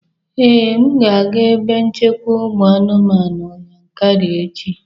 Ee, m ga-aga ebe nchekwa ụmụ anụmanụ Yankari echi